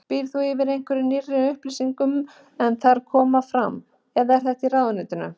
Býrð þú yfir einhverjum nýrri upplýsingum en þarna koma fram, eða þið í ráðuneytinu?